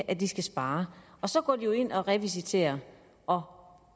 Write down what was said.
at de skal spare så går de jo ind og revisiterer og